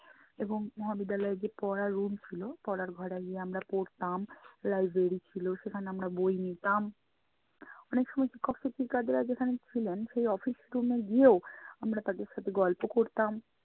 এবং মহাবিদ্যালয়ে যে পড়ার room ছিলো, পড়ার ঘরে আমরা পড়তাম লাইব্রেরি ছিলো সেখানে আমরা বই নিতাম। অনেক সময় শিক্ষক শিক্ষিকারা যেখানে ছিলেন সেই office room এ গিয়েও আমরা তাদের সাথে গল্প করতাম।